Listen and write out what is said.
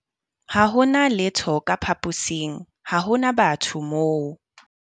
Ha ho na letho ka phaposing, ha ho na batho moo.